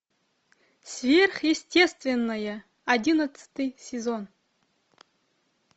сверхъестественное одиннадцатый сезон